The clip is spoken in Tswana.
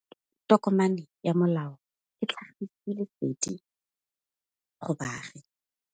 Tokomane ya molao ke tlhagisi lesedi go baagi.